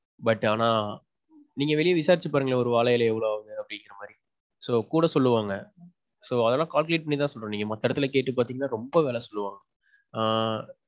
But ஆனா, நீங்க வெளிய விசாரிச்சு பாருங்களேன் ஒரு வாழ இலை எவ்வளவு ஆகுதுன்னு அப்படின்கிறமாறி. So. கூட சொல்லுவாங்க. So, அதெல்லாம் calculate பண்ணிதான் சொல்றேன். நீங்க மத்த எடத்துல கேட்டு பாத்தீங்கன்னா ரொம்ப வெல சொல்லுவாங்க. ஆ.